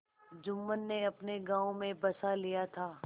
जुम्मन ने अपने गाँव में बसा लिया था